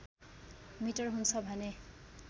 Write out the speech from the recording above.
metre हुन्छ भने